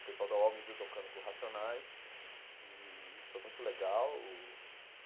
O pessoal do Uol me viu tocando com o Racionais e foi muito legal.